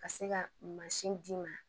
Ka se ka mansin d'i ma